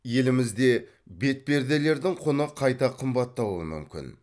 елімізде бетперделердің құны қайта қымбаттауы мүмкін